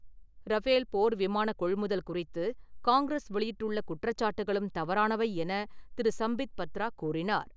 Rafale, போர் விமான கொள்முதல் குறித்து காங்கிரஸ் வெளியிட்டுள்ள குற்றச்சாட்டுகளும் தவறானவை என திரு. சம்பித் பத்ரா கூறினார்.